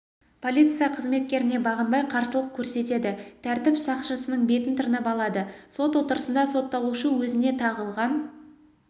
полиция қызметкеріне бағынбай қарсылық көрсетеді тәртіп сақшысының бетін тырнап алады сот отырысында сотталушы өзіне тағылған